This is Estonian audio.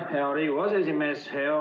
Aitäh, hea Riigikogu aseesimees!